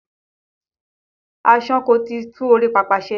Aṣáko ti tún orí pápá ṣe.